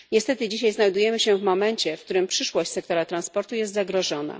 Niestety dzisiaj znajdujemy się w momencie, w którym przyszłość sektora transportu jest zagrożona.